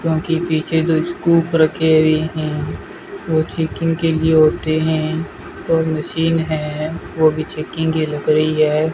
क्योंकि पीछे जो स्कूप रखे हुए हैं वो चेकिंग के लिए होते हैं और मशीन है वो भी चेकिंग की लग रही है।